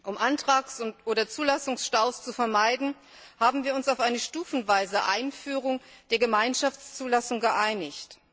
Um Antrags oder Zulassungsstaus zu vermeiden, haben wir uns auf eine stufenweise Einführung der Gemeinschaftszulassung geeinigt.